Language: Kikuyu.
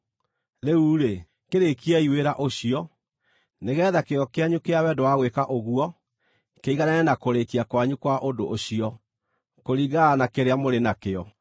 Rĩu-rĩ, kĩrĩĩkiei wĩra ũcio, nĩgeetha kĩyo kĩanyu kĩa wendo wa gwĩka ũguo kĩiganane na kũrĩĩkia kwanyu kwa ũndũ ũcio, kũringana na kĩrĩa mũrĩ nakĩo.